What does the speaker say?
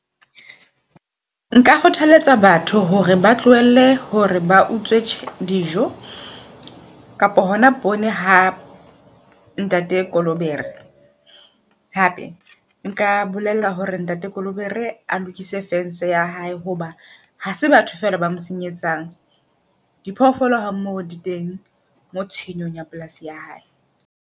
Nka kgothaletsa batho hore ba tlohelle hore ba utswe dijo kapa hona pone ha ntate Kolobere. Hape nka bolella hore ntate Kolobe re a lokise fence ya hae hoba ha se batho fela ba senyetsang. Di phoofolo ha mmoho di teng moo tshenyong ya polasi ya hae.